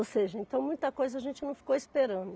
Ou seja, então muita coisa a gente não ficou esperando.